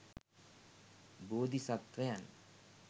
බෝධි සත්වයන්